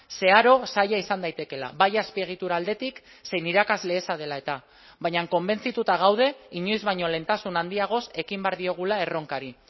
zeharo zaila izan daitekeela bai azpiegitura aldetik zein irakasle eza dela eta baina konbentzituta gaude inoiz baino lehentasun handiagoz ekin behar diogula erronkari